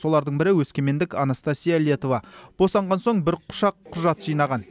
солардың бірі өскемендік анастасия летова босанған соң бір құшақ құжат жинаған